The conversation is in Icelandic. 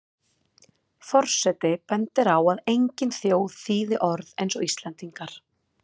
Forseti bendir á að engin þjóð þýði orð eins og Íslendingar.